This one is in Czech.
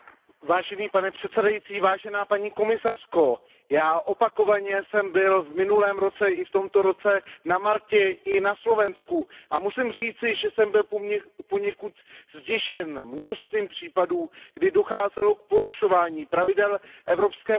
Pane předsedající, paní komisařko, já opakovaně jsem byl v minulém roce i v tomto roce na Maltě i na Slovensku a musím říci, že jsem byl poněkud zděšen množstvím případů, kdy docházelo k porušování pravidel Evropské unie.